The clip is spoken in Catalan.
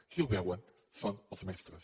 qui el veuen són els mestres